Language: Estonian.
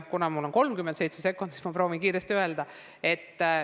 Kuna mul on veel 37 sekundit aega, siis ma proovin kiiresti veel midagi öelda.